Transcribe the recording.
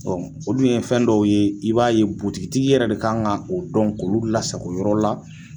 olu ye fɛn dɔw ye i b'a ye butigi tigi yɛrɛ de kan ka o dɔn k'olu lasago yɔrɔ la.